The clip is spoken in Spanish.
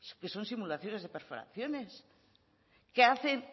que son simulaciones de perforaciones que hacen